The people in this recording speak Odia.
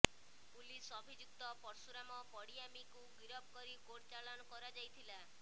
ପୁଲିସ ଅଭିଯୁକ୍ତ ପର୍ଶୁରାମ ପଡିଆମିକୁ ଗିରଫ କରି କୋର୍ଟଚାଲାଣ କରାଯାଇଥିଲା